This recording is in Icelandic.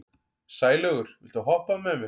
Sælaugur, viltu hoppa með mér?